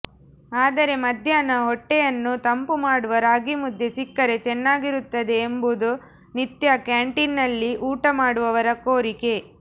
ಆದರೆ ಮಧ್ಯಾಹ್ನ ಹೊಟ್ಟೆಯನ್ನು ತಂಪು ಮಾಡುವ ರಾಗಿಮುದ್ದೆ ಸಿಕ್ಕರೆ ಚೆನ್ನಾಗಿರುತ್ತದೆ ಎಂಬುದು ನಿತ್ಯ ಕ್ಯಾಂಟೀನ್ನಲ್ಲಿ ಊಟ ಮಾಡುವವರ ಕೋರಿಕೆ